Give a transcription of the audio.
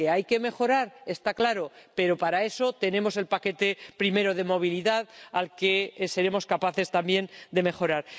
Que hay que mejorar está claro, pero para eso tenemos el paquete primero de movilidad, que seremos capaces también de mejorar.